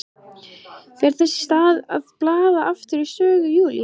Fer þess í stað að blaða aftur í sögu Júlíu.